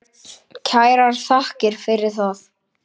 Kærar þakkir fyrir það.